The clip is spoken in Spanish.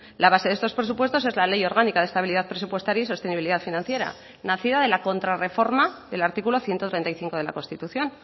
la base de estos presupuestos es la ley orgánica de estabilidad presupuestaria y sostenibilidad financiera nacida de la contrarreforma del artículo ciento treinta y cinco de la constitución